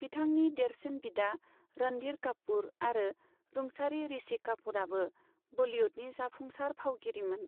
बिथांनि देरसिन बिदा रणधीर कापुर आरो रुंसारि ऋषि कापुरआबो बलीवुडनि जाफुंसार फावगिरिमोन।